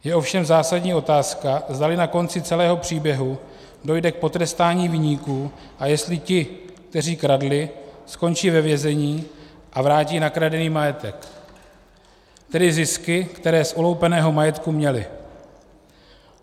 Je ovšem zásadní otázka, zdali na konci celého příběhu dojde k potrestání viníků a jestli ti, kteří kradli, skončí ve vězení a vrátí nakradený majetek, tedy zisky, které z uloupeného majetku měli.